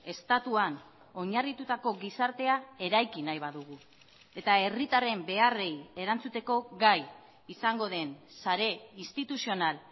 estatuan oinarritutako gizartea eraiki nahi badugu eta herritarren beharrei erantzuteko gai izango den sare instituzional